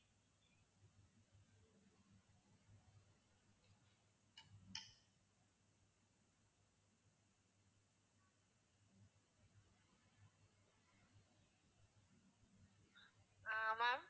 அஹ் ma'am